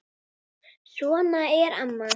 Svona er amma.